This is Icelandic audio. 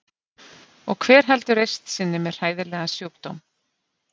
Og hver heldur reisn sinni með hræðilegan sjúkdóm?